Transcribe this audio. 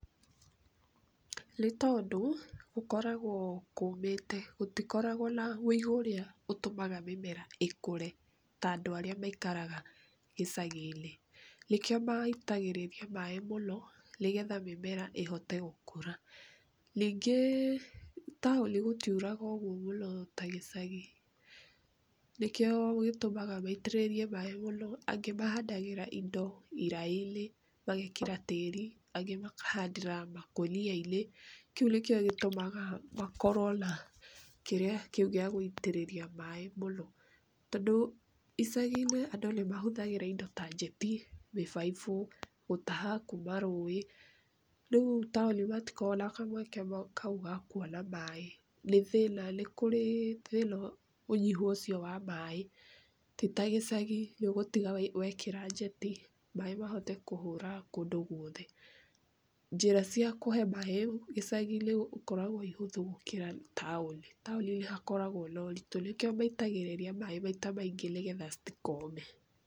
Nĩ tondũ gũkoragwo kũmĩte gũtikoragwo na wĩigũ ũrĩa ũtũmaga mĩmera ĩkũre ta andũ arĩa maikaraga gĩcagi-inĩ, nĩkĩo maitagĩrĩria maĩ mũno nĩgetha mĩmera ĩhote gũkũra. Ningĩ taũni gũtiuraga ũguo mũno ta gĩcagi. Nĩkĩo gĩtũmaga maitĩrĩrie maĩ mũno angĩ mahandagĩra indo iraĩ-inĩ magekĩra tĩri, angĩ makahandĩra makũnia-inĩ, kĩu nĩkĩo gĩtũmaga makorwo na kĩrĩa kĩu gĩa gũitĩrĩria maĩ mũno. Tondũ icagi-inĩ andũ nĩ mahũthagĩra indo ta njeti, mĩbaibũ gũtaha kuuma rũĩ, rĩu taũni matikoragwo na kamweke kau ga kuona maĩ nĩ thĩna nĩ kũrĩ thĩna ũnyihu ũcio wa maĩ ti ta gĩcagi nĩ ũgũtiga wekĩra njeti maĩ mahote kũhũra kũndũ gwothe. Njĩra cia kũhe maĩ gĩcagi-inĩ ikoragwo ii hũthũ gũkĩra taũni, taũni nĩ hakoragwo na ũritũ nĩkĩ maitagĩrĩria maĩ maita maingĩ nĩ getha citikome.